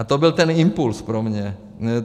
A to byl ten impuls pro mě.